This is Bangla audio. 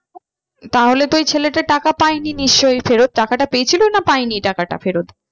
তাহলে তো ওই ছেলেটা টাকা পায়নি নিশ্চই? ফেরত টাকাটা পেয়েছিলো না পায়নি টাকাটা ফেরত?